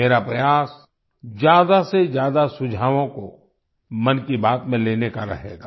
मेरा प्रयास ज्यादा से ज्यादा सुझावों को मन की बात में लेने का रहेगा